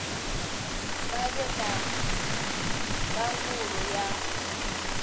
vha vhe na ndangulo ya